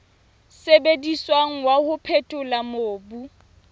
sebediswang wa ho phethola mobu